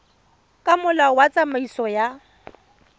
ka molao wa tsamaiso ya